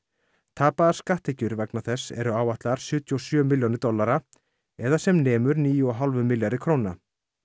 tapaðar skatttekjur vegna þess eru áætlaðar sjötíu og sjö milljónir dollara eða sem nemur níu og hálfum milljarði króna